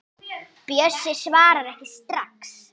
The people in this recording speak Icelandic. Bjössi svarar ekki strax.